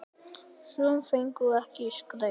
Sum fengu ekkert skraut.